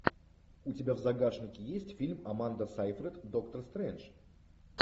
у тебя в загашнике есть фильм аманда сайфред доктор стрэндж